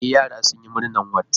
E, yara sun yi murnar wat